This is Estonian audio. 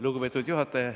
Lugupeetud juhataja!